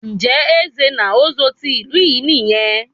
Njẹ Nze na Ozo tí ìlú yín nìyẹn?